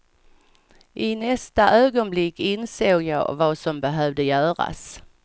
I nästa ögonblick insåg jag vad som behövde göras.